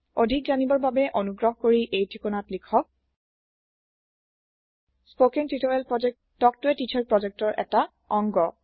অধিক জানিবৰ বাবে অনুগ্ৰহ কৰি এই ঠিকনাত লিখক spoken hyphen tutorial dot org spoken tutorial project talk to a teacher প্ৰোজেক্টৰ এটা অংগ